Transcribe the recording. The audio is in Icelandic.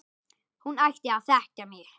Hún ætti að þekkja mig!